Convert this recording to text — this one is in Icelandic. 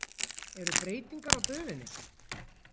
Eru breytingar á döfinni?